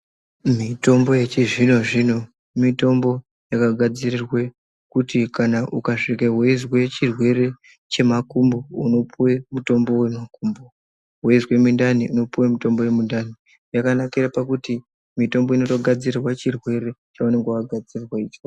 Mitombo yechizvino zvino mitombo yakagadzirirwe kuti kana ukasvike weizwe chirwere chemakumbo unopuwe mutombo wemakumbo, weizwe mindani unopuwe wemindani, yakanakira pakuti mitombo inotogadzirwe chirwere chaunenge wagadzirwa chocho.